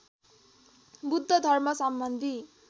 Buddha धर्मसम्बन्धी